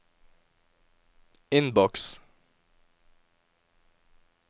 innboks